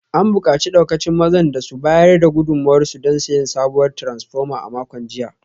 An bukaci daukacin mazan da su bayar da gudunmuwarsu don siyan sabuwar taransfoma a makon jiya